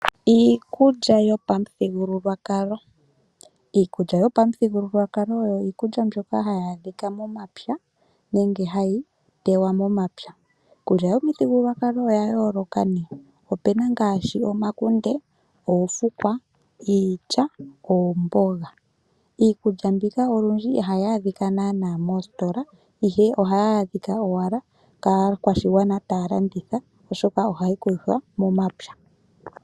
Iikulya yopamuthigululwakalo Iikulya yopamuthigululwakalo oyo iikulya mbyoka hayi adhika momapya nenge hayi teywa momapya. Iikulya yopamuthigululwakalo oya yooloka nee, opena ngaashi omakunde, oofukwa, iilya, oomboga. Iikulya mbika olwindji ihayi adhika naanaa moositola ihe ohayi adhika owala kaakwashigwana taya landitha oshoka ohayi kuthwa momapya.